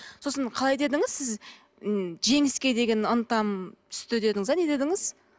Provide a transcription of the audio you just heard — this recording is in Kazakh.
сосын қалай дедіңіз сіз м жеңіске деген ынтам түсті дедіңіз бе не дедіңіз